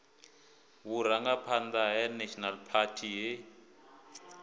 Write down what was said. vhurangaphanḓa ha national party he